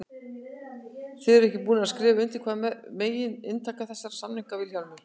Þið eruð ekki búnir að skrifa undir, hvað er megin inntak þessara samninga Vilhjálmur?